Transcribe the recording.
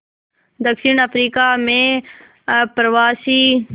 दक्षिण अफ्रीका में अप्रवासी